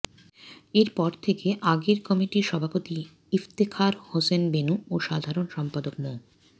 এর পর থেকে আগের কমিটির সভাপতি ইফতেখার হোসেন বেনু ও সাধারণ সম্পাদক মো